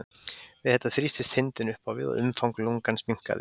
við þetta þrýstist þindin upp á við og umfang lungans minnkaði